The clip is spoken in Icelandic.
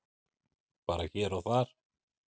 Bara hér og þar.